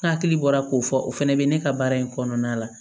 N hakili bɔra k'o fɔ o fɛnɛ bɛ ne ka baara in kɔnɔna la